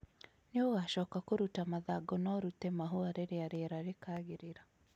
Nĩ ũgaacoka kũruta mathangũ na ũrute mahũa rĩrĩa rĩera rĩkagĩrĩra